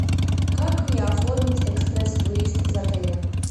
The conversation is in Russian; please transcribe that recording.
как мне оформить экспресс выезд из отеля